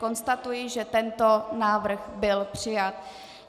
Konstatuji, že tento návrh byl přijat.